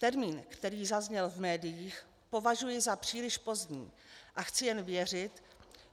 Termín, který zazněl v médiích, považuji za příliš pozdní a chci jen věřit,